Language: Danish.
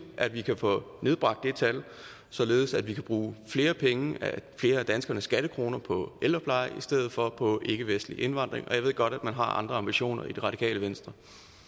at vi kan få nedbragt det tal således at vi kan bruge flere penge flere af danskernes skattekroner på ældrepleje i stedet for på ikkevestlig indvandring og jeg ved godt at man har andre ambitioner i det radikale venstre